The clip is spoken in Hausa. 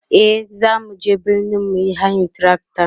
e zamu je birni muyi hayan trakta